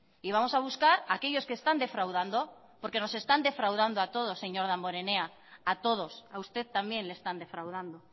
y vamos a buscar aquellos que están defraudando porque nos están defraudando a todos señor damborenea a todos a usted también le están defraudando